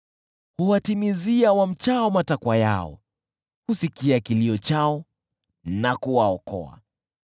Huwatimizia wamchao matakwa yao, husikia kilio chao na kuwaokoa.